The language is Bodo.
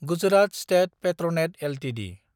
Gujarat state Petronet Ltd